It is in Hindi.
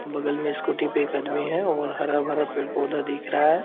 बगल में स्कूटी पे एक आदमी है और हरा-भरा पेड़-पौधा दिख रहा है।